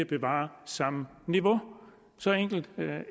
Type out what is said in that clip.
bevare samme niveau så enkelt